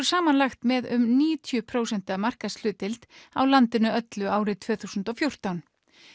samanlagt með um níutíu prósent markaðshlutdeild á landinu öllu árið tvö þúsund og fjórtán